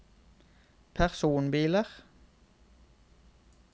personbiler